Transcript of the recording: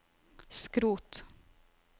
skrot